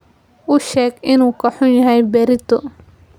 U sheeg inuu ka xun yahay berrito.